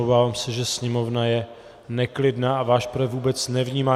Obávám se, že sněmovna je neklidná a váš projev vůbec nevnímá.